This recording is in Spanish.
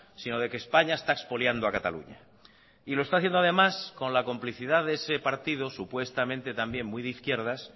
sino de que españa está expoliando a cataluña y lo está haciendo además con la complicidad de ese partido supuestamente también muy de izquierdas